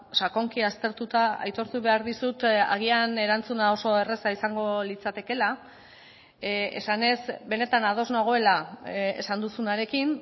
sakonki aztertuta aitortu behar dizut agian erantzuna oso erraza izango litzatekeela esanez benetan ados nagoela esan duzunarekin